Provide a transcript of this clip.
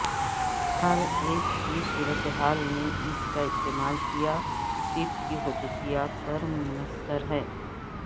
ہر ایک کی صورتحال میں اس کا استعمال کیا ٹیپ کی خصوصیات پر منحصر ہے